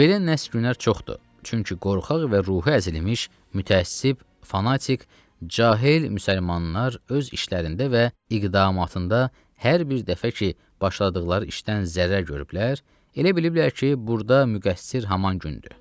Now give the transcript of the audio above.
Belə nəhs günlər çoxdur, çünki qorxaq və ruhi əzilmiş mütəəssib, fanatik, cahil müsəlmanlar öz işlərində və iqdamatında hər bir dəfə ki, başladıqları işdən zərər görüblər, elə biliblər ki, burda müqəssir haman gündür.